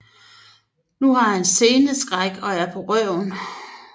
Nu har han sceneskræk og er på røven